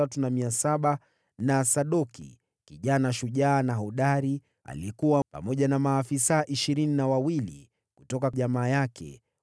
na Sadoki, kijana shujaa na hodari, aliyekuwa pamoja na maafisa ishirini na wawili kutoka jamaa yake.